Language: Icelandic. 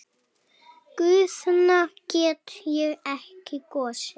Guðna get ég ekki kosið.